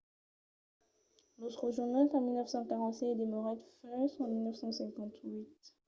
los rejonhèt en 1945 e demorèt fins a 1958